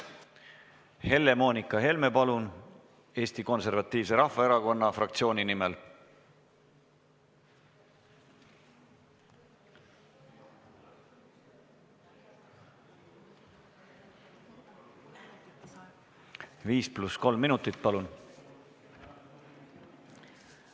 Helle-Moonika Helme Eesti Konservatiivse Rahvaerakonna fraktsiooni nimel, 5 + 3 minutit, palun!